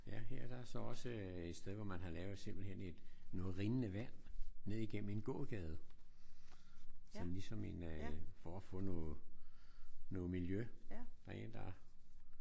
Ja her der er så også et sted hvor man har lavet simpelthen et noget rindende vand ned igennem en gågade sådan ligesom en øh for at få noget noget miljø